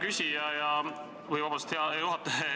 Aitäh, hea juhataja!